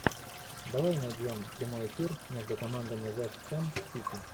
давай найдем прямой эфир между командами вест хэм сити